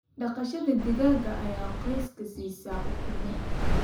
Dhaqashada digaaga ayaa qoyska siisa ukumo.